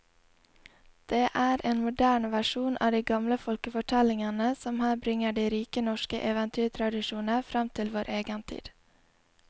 Det er en moderne versjon av de gamle folkefortellingene som her bringer de rike norske eventyrtradisjoner fram til vår egen tid.